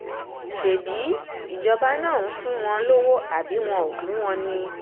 ṣebí ìjọba náà ń fún wọn lọ́wọ́ àbí wọn ò fún wọn ni